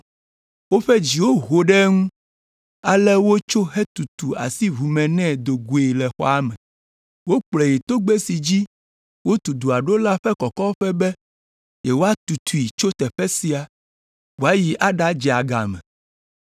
Woƒe dziwo ho ɖe eŋu ale wotso hetutu asi ʋu me nɛ do goe le xɔa me. Wokplɔe yi togbɛ si dzi wotu dua ɖo la ƒe kɔkɔƒe be yewoatutui tso teƒe sia wòayi aɖadze agame.